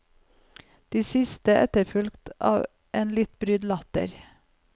Det siste etterfulgt av en litt brydd latter.